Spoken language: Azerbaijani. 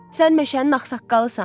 Sən meşənin ağsaqqalısan.